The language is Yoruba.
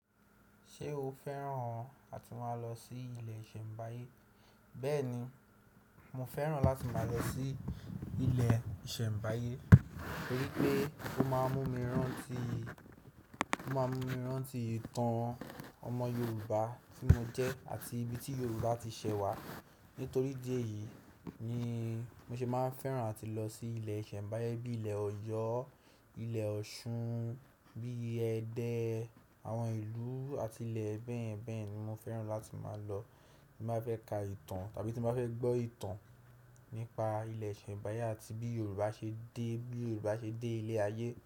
Ṣé o fẹ́ràn àti máa lọ sí ibi ìṣẹ̀mbáyé? Bẹ́ẹ̀ni, mo fẹ́ràn láti máa lọ sí ilẹ̀ ìṣẹ̀mbáyé, torí pé ó máa ń mú mi rántí, ó máa ń mú mi rántí ìtàn ọmọ Yorùbá tí mo jẹ́ àti ibi tí Yorùbá ti ṣẹ̀ wá. Nítorí idi eyìí ni mo ṣe máa ń fẹ́ràn àti lọ sí ilẹ̀ ìṣẹ̀mbáyé bíi ilẹ̀ Ọ̀yọ́, ilẹ̀ Ọ̀ṣun, bíi ẹdẹ àwọn ìlú àti ilẹ̀ bẹ́ẹ̀ bẹ́ẹ̀ ni mo fẹ́ràn láti máa lọ tí n ba fẹ́ ka ìtàn tàbí tí n ba fẹ́ gbọ́ ìtàn nípa ilẹ̀ ìṣẹ̀mbáyé àti bí Yorùbá ṣe dé, bí Yorùbá ṣe dé ilẹ̀ ayé.